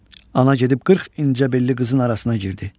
Ana gedib qırx incə belli qızın arasına girdi.